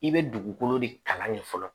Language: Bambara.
I bɛ dugukolo de kalan fɔlɔ